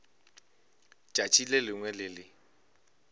tšatši le lengwe le le